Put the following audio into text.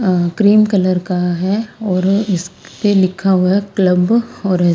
अह cream colour का है और इस पे लिखा हुआ है क्लब और--